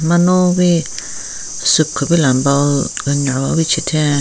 Manuwi soup kupila bowl ken nyon wi chitheng.